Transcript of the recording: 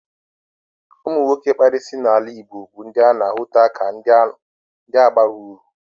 Ụmụ nwoke kpara isi n'ala Igbo bụ ndị a na-ahụta ka ndị abaghị uru.